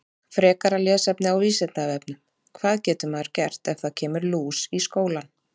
Frekara lesefni á Vísindavefnum: Hvað getur maður gert ef það kemur lús í skólann?